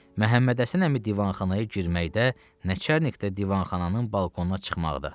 Məhəmmədhəsən əmi divanxanaya girməkdə, Nəçərnikdə divanxananın balkonuna çıxmaqda.